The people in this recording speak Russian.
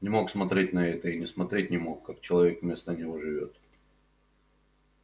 не мог смотреть на это и не смотреть не мог как человек вместо него живёт